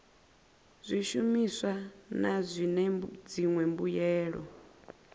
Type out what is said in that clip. zwishumiswa na zwine dziṅwe mbuelo